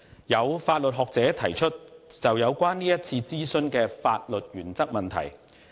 有法律學者提出有關是次諮詢的法律原則問題。